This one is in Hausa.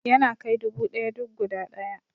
Yana kai dubu ɗaya duk guda ɗaya